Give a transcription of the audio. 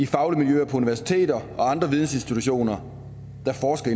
faglige miljøer på universiteter og andre vidensinstitutioner der forsker